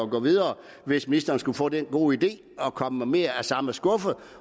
gå videre hvis ministeren skulle få den gode idé at komme med mere af samme skuffe